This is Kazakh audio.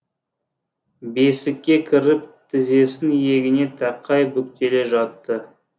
бесікке кіріп тізесін иегіне тақай бүктеле жатты